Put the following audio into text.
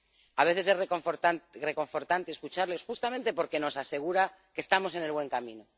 A veces es reconfortante escucharles justamente porque nos asegura que estamos en el buen camino.